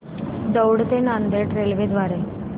दौंड ते नांदेड रेल्वे द्वारे